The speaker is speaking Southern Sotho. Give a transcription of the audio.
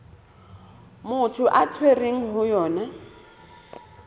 motho a tshwerweng ho yona